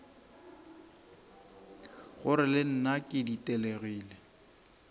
gore le nna ke ditelegile